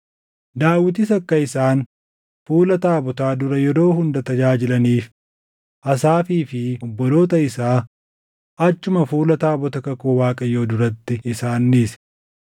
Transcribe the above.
Daawitis akka isaan fuula taabotaa dura yeroo hunda tajaajilaniif, Asaafii fi obboloota isaa achuma fuula taabota kakuu Waaqayyoo duratti isaan dhiise.